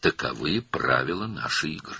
Oyunumuzun qaydaları belədir.